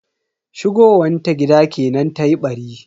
Shigowan ta gida kenan tayi ɓari.